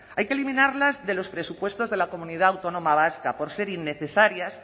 hay que eliminarlas de los presupuestos de la comunidad autónoma vasca por ser innecesarias